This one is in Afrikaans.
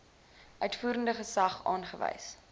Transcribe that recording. uitvoerende gesag aangewys